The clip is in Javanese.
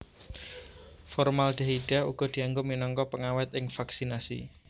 Formaldehida uga dianggo minangka pengawèt ing vaksinasi